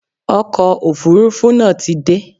Ọkọ̀ Òfurufú náà ti dé.